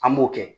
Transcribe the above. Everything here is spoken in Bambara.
An b'o kɛ